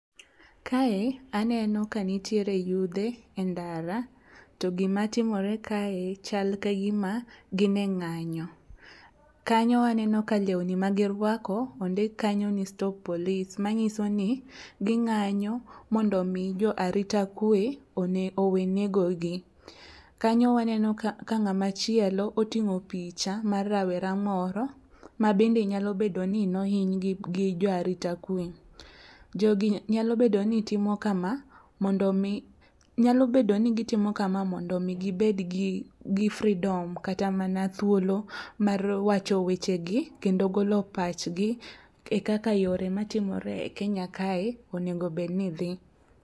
Kae aneno ka nitiere yudhe e ndara. To gima timore kae, chal ka gima gin e ngányo. Kanyo waneno ka lewni magirwako ondik kanyo ni stop police. Manyisoni gingányo mondo mi jo arita kwe, one, owe nego gi. Kanyo waneno ka ka ngáma chielo otingó picha mar rawera moro, ma bende nyalo bedo ni nohiny gi jo arita kwe. Jogi nyalo bedo nitimo kama mondo omi nyalo bedo ni gitimo kama mondo omi gibed gi gi freedom kat mana thuolo mar wacho weche gi, kendo golo pachgi, e kaka yore matimore e Kenya kae onego bed ni dhi.